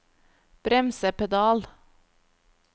bremsepedal